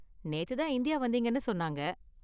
நேத்து தான் இந்தியா வந்தீங்கன்னு சொன்னாங்க.